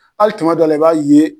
Hali dɔw la i b'a ye